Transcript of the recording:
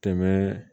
Tɛmɛ